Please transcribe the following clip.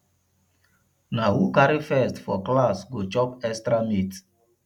na who carry first for class go chop extra meat